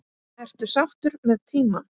Ertu sáttur með tímann?